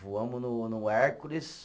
Voamos no no Hércules.